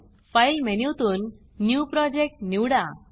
file मेनूतून new Projectन्यू project निवडा